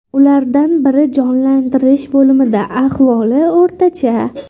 Ulardan biri jonlantirish bo‘limida, ahvoli o‘rtacha.